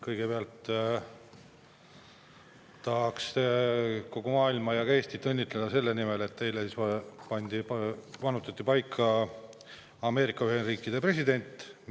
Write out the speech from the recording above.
Kõigepealt tahaks kogu maailma ja ka Eestit õnnitleda selle puhul, et eile vannutati Ameerika Ühendriikide president.